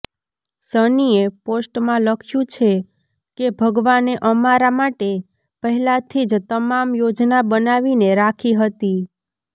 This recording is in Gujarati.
સનીએ પોસ્ટમાં લખ્યુ છે કે ભગવાને અમારા માટે પહેલાથી જ તમામ યોજના બનાવીને રાખી હતી